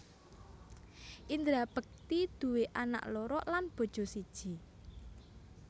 Indra Bekti duwe anak loro lan bojo siji